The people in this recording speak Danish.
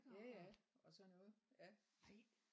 jaja og sådan noget ja